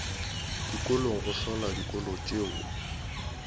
dikolong go hlola dikolo tšeo